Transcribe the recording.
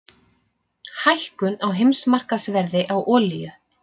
Hækkun á heimsmarkaðsverði á olíu